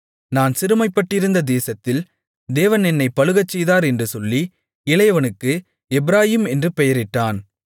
நான் சிறுமைப்பட்டிருந்த தேசத்தில் தேவன் என்னைப் பலுகச்செய்தார் என்று சொல்லி இளையவனுக்கு எப்பிராயீம் என்று பெயரிட்டான்